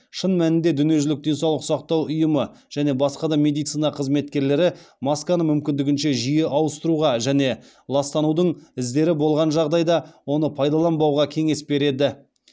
шын мәнінде дүниежүзілік денсаулық сақтау ұйымы және басқа да медицина қызметкерлері масканы мүмкіндігінше жиі ауыстыруға және ластанудың іздері болған жағдайда оны пайдаланбауға кеңес береді